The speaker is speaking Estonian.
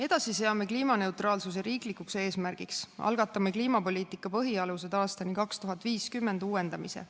Edasi seame kliimaneutraalsuse riiklikuks eesmärgiks ja algatame "Kliimapoliitika põhialused aastani 2050" uuendamise.